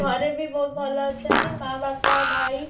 ଘରେ ବି ବହୁତ ଭଲ ଅଛନ୍ତି ମା ବାପା ଭାଇ